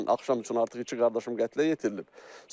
Dünən axşam üçün artıq iki qardaşım qətlə yetirilib.